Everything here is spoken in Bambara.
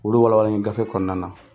Olu walawalen gafe kɔɔna na.